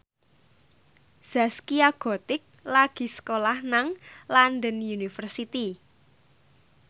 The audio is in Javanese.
Zaskia Gotik lagi sekolah nang London University